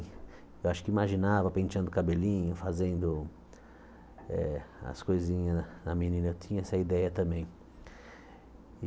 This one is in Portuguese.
Eu acho que imaginava penteando o cabelinho, fazendo eh as coisinhas da menina, eu tinha essa ideia também.